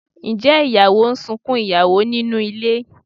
Ǹjẹ́ ìyàwó ń sunkún ìyàwó nínú ilé?